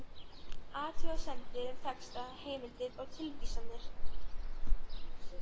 Athugasemdir um texta, heimildir og tilvísanir